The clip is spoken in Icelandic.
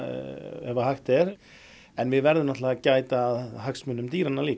ef hægt er en við verðum náttúrulega að gæta að hagsmunum dýranna líka